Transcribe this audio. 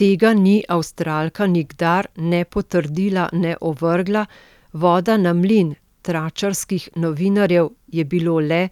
Tega ni Avstralka nikdar ne potrdila ne ovrgla, voda na mlin tračarskih novinarjev je bilo le,